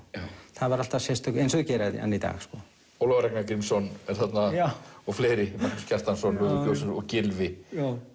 það var alltaf sérstök eins og þeir gera enn í dag Ólafur Ragnar Grímsson er þarna og fleiri Magnús Kjartansson og Gylfi